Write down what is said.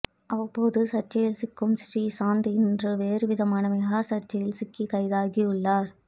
அவ்வப்போது சர்ச்சையில் சிக்கும் ஸ்ரீ சாந்த் இன்று வேறுவிதமான மெகா சர்ச்சையில் சிக்கி கைதாகியுள்ளார்